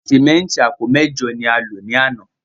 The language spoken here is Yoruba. Símẹ́ǹtì apo mejo la lo ni ana